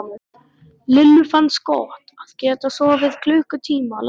Lillu fannst gott að geta sofið klukkutíma lengur.